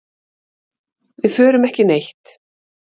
Við förum ekki neitt.